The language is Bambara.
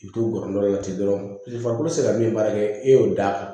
I bɛ t'o yɔrɔ dɔ la ten dɔrɔn paseke farikolo tɛ se ka min baara kɛ e y'o da